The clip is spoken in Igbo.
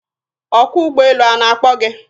Ọkwọ ụgbọelu a na-akpọ gị?